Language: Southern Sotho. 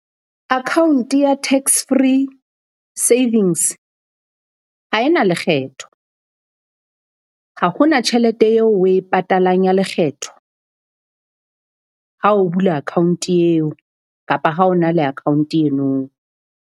Account ya Tax Free Savings ha e na lekgetho, ha hona tjhelete eo oe patalang ya lekgetho ha o bula account eo kapa ha o na le account eno.